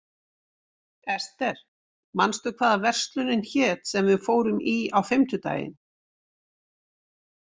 Ester, manstu hvað verslunin hét sem við fórum í á fimmtudaginn?